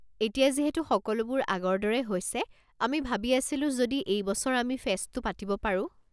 এতিয়া যিহেতু সকলোবোৰ আগৰ দৰে হৈছে আমি ভাবি আছিলো যদি এই বছৰ আমি ফেষ্টটো পাতিব পাৰোঁ।